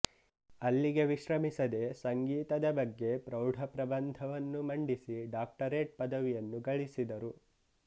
ಅಲ್ಲಿಗೆ ವಿಶ್ರಮಿಸದೆ ಸಂಗೀತದ ಬಗ್ಗೆ ಪ್ರೌಢ ಪ್ರಬಂಧವನ್ನು ಮಂಡಿಸಿ ಡಾಕ್ಟರೇಟ್ ಪದವಿಯನ್ನು ಗಳಿಸಿದರು